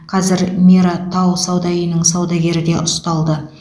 қазір мира тау сауда үйінің саудагері де ұсталды